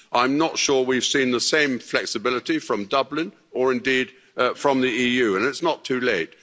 I'm not sure we've seen the same flexibility from Dublin or indeed from the EU and it's not too late.